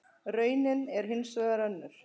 Raunin er hins vegar önnur.